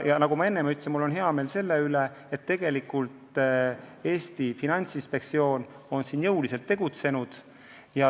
Ja nagu ma enne ütlesin, mul on hea meel, et Eesti Finantsinspektsioon on jõuliselt tegutsenud.